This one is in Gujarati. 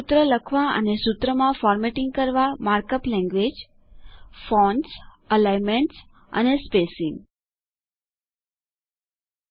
સૂત્ર લખવા અને સૂત્રમાં ફોર્મેટિંગ કરવા માર્ક અપ લેન્ગવેજ160 ફોન્ટ્સઅલાઈનમેન્ટગોઠવણી અને સ્પેસીંગઅંતર રાખવું